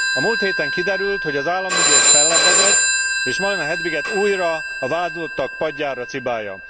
A múlt héten kiderült, hogy az államügyész fellebbezett és Malina Hedviget újra a vádlottak padjára cibálja.